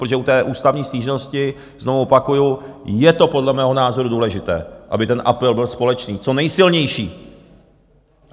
Protože u té ústavní stížnosti, znovu opakuju, je to podle mého názoru důležité, aby ten apel byl společný, co nejsilnější.